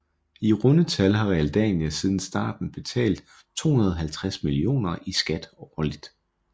I runde tal har Realdania siden starten betalt 250 millioner i skat årligt